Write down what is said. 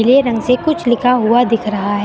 नीले रंग से कुछ लिखा हुआ दिख रहा है।